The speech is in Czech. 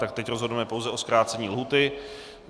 Tedy teď rozhodneme pouze o zkrácení lhůty.